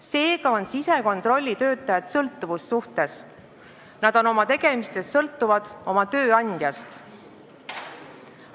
Seega on sisekontrollitöötajad sõltuvussuhtes, nad on oma tegemistes sõltuvad tööandjast.